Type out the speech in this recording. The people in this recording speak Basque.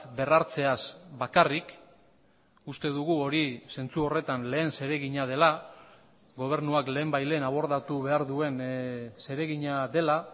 berrartzeaz bakarrik uste dugu hori zentzu horretan lehen zeregina dela gobernuak lehenbailehen abordatu behar duen zeregina dela